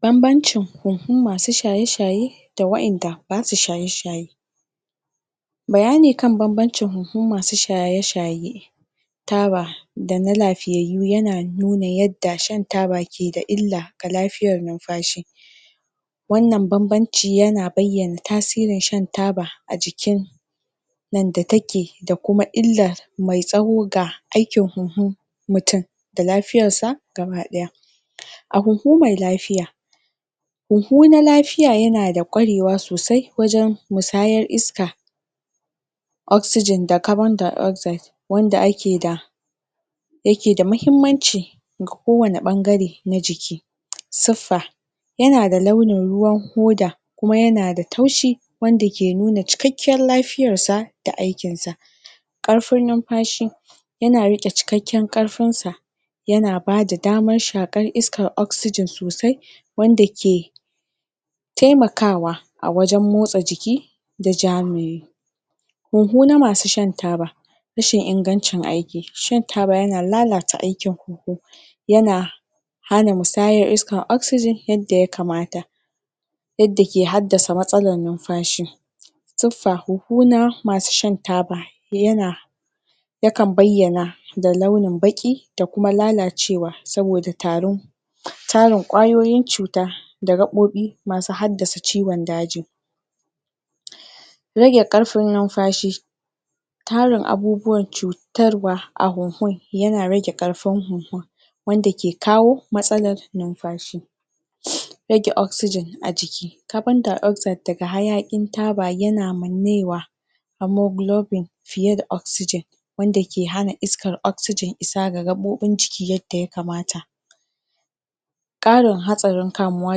banabancin huhun masu shaye shaye da waenda basu shaye shaye bayani kan banabincin huhun masu shaye shaye tara da na lafiyayyu yana nuna yadda shan taba ke da illa ga lafiyar numfashi wannan banbanci yana bayyana tasirin shan taba a jikin a jikin nan da take da kuma illar me tsawo ga aikin huhu mutum da lafiyarsa gaba daya a huhu me lafiya huhu na lafiya yana da kwarewa sosai wajen musayar iska oxygen da carbondioxide wanda ake da yake da mahimmanci ga kowani bangare na jiki sifa yana da launin ruwan hoda kuma yana da taushi wanda ke nuna cikakken lafiyarsa da da aikinsa karfin numfashi yana rike cikakken karfinsa yana bada damar shakar iskan oxygen sosai wanda ke taimakawa a wajen motsa jiki da ja me huhu na masu shan taba rashin ingancin aiki shan taba yana lalata inganicn aikin huhu yana hana musayar iska oxygen yadda ya kamata yadda ke haddasa matsalan numfashi sifa huhu na masu shna taba yana ya kan bayyana da launin baqi da kuma lalacewa saboda tarin tarin kwayoyin cuta da gabobi masu h addasa ciwon daji? rage karfin numfashi tarin abubuwan cuta tarwa a huhun yana yana rage karfin huhun wanda ke kawo matsalar numfashi rage oxygen a jiki carbondioaxide daga hayakin taba yana mannewa homoglobbing fiye da oxygen wanda ke hana iskan oxgyen isa ga gabobin jiki yadda ya kamata karin hatsarin kamuwa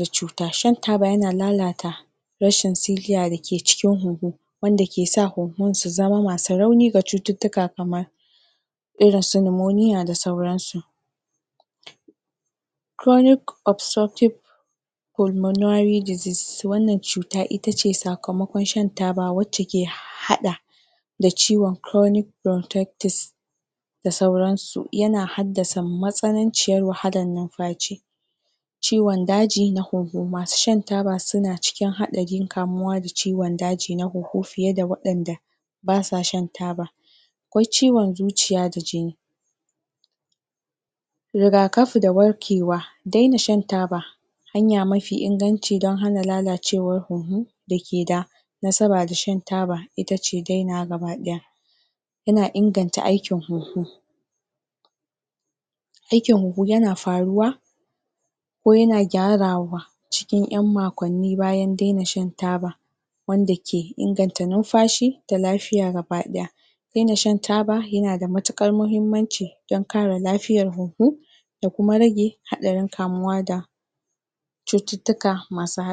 da cuta shan taba yana lalata rashin siliya da ke cikin huhu wanda ke sa huhun su zama masu rauni ga cututtuka kamar irin su phneumonia da sauransu chronic obsoptic pulmonary disease wannan cuta itace sakamakon shan taba wacce ke hada hada da ciwon chronnic bruntectis da sauransu yana haddasa matsananciyar wahalan numfashi ciwon daji na huhu masu shan taba suna cikin hadarin kamuwa da ciwon daji na huhu fiye da wadanda basa shan taba akwai ciwon zuciya da jini riga kafi da warkewa daina shan taba hanya mafi inganci don hana lalacewa na huhu da ke da nasaba da shan taba itace dainawa gaba daya yana inganta aikin huhu aikin huhu yana faruwa ko yana gyarawa cikin yan makwannin bayan dena shan taba wanda ke inganta numfashi da lafiya gaba daya dena shan taba yana da matukar mahimmanci don kare lafiyar huhu da kuma rage hadarin kamuwa da cututtuka masu hadari